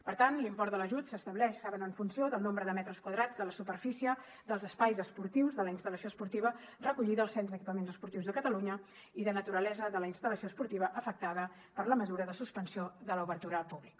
per tant l’import de l’ajut s’estableix en funció del nombre de metres quadrats de la superfície dels espais esportius de la instal·lació esportiva recollida al cens d’equipaments esportius de catalunya i de la naturalesa de la instal·lació esportiva afectada per la mesura de suspensió de l’obertura al públic